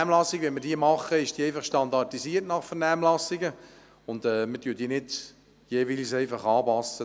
Eine Vernehmlassung wird halt standardisiert durchgeführt und die Adressaten werden nicht einfach angepasst.